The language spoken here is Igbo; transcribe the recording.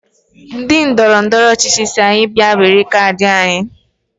Ndị ndọrọndọrọ ọchịchị si anyi bịa were kaadị anyị